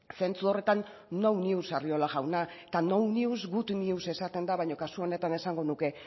zentzu horretan no news arriola jauna eta no news good news esaten da baina kasu honetan esango nuke